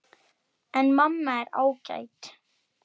Þú til Kanarí?